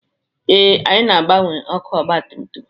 Ee, anyị na-agbanwe ọkụ ọgabtumtum